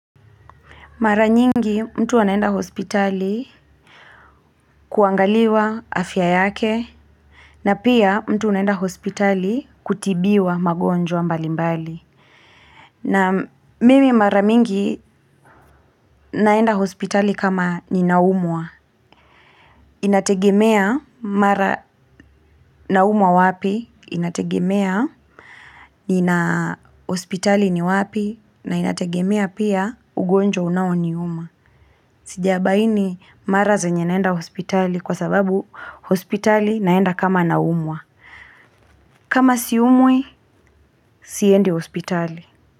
Mara nyingi mtu anaenda hospitali kuangaliwa afya yake. Na pia mtu anaenda hospitali kutibiwa magonjwa mbali mbali. Na mimi mara mingi naenda hospitali kama ninaumwa inategemea mara naumwa wapi, inategemea nina hospitali ni wapi, na inategemea pia ugonjwa unao niuma. Sija baini mara zenye naenda hospitali kwa sababu hospitali naenda kama naumwa kam siumi siendi hospitali.